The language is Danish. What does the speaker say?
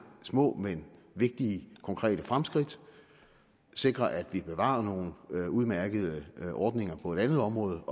små men vigtige konkrete fremskridt og sikrer at vi bevarer nogle udmærkede ordninger på et andet område